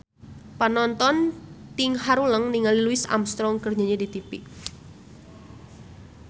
Panonton ting haruleng ningali Louis Armstrong keur nyanyi di tipi